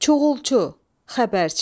Çuğulçu, xəbərçi.